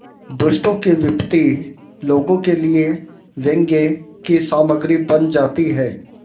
दुष्टों की विपत्ति लोगों के लिए व्यंग्य की सामग्री बन जाती है